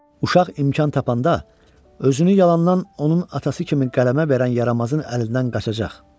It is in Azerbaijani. Uşaq imkan tapanda özünü yalandan onun atası kimi qələmə verən yaramazın əlindən qaçacaq.